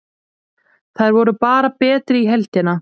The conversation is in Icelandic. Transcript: Þær voru bara betri í heildina.